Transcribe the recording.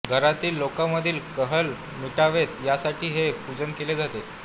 घरातील लोकांमधील कलह मिटावेत यासाठी हे पूजन केले जाते